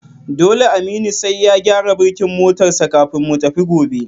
Dole Aminu sai ya gyara birkin motar sa kafin mu tafi gobe